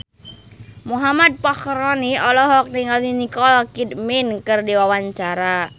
Muhammad Fachroni olohok ningali Nicole Kidman keur diwawancara